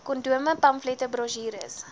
kondome pamflette brosjures